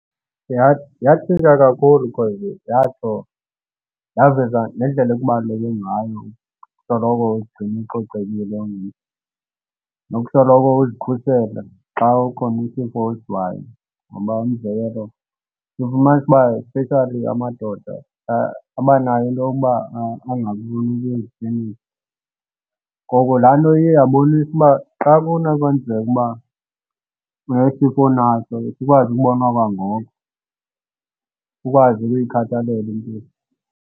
Yatshintsha kakhulu because yatsho yaveza nendlela ekubaluleke ngayo ukusoloko uzigcina ucocekile ungumntu nokusoloko uzikhusela xa kukhona isifo osivayo. Ngoba umzekelo ufumanisa uba especially amadoda, abanayo into yokuba angafuni ukuya eziklinikhi. Ngoko laa nto iye yabonisa uba xa kunokwenzeka ukuba unesifo onaso sikwazi ukubonwa kwangoko, ukwazi ukuyikhathalela impilo.